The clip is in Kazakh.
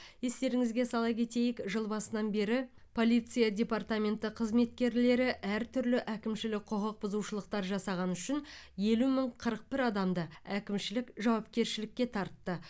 естеріңізге сала кетейік жыл басынан бері полиция департаменті қызметкерлері әртүрлі әкімшілік құқық бұзушылықтар жасағаны үшін елу мың қырық бір адамды әкімшілік жауапкершілікке тартты